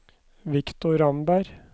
Victor Ramberg